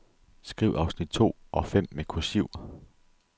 Skriv afsnit to og fem med kursiv.